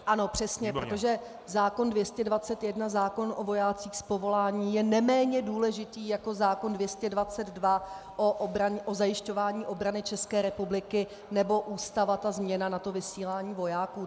Ano, přesně, protože zákon 221, zákon o vojácích z povolání, je neméně důležitý jako zákon 222, o zajišťování obrany České republiky, nebo Ústava, ta změna na vysílání vojáků.